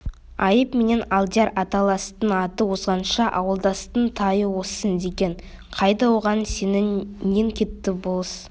айып менен алдияр аталастың аты озғанша ауылдастың тайы озсын деген қайда оған сенін нең кетті болыс